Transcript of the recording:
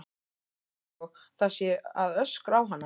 Einsog það sé að öskra á hana.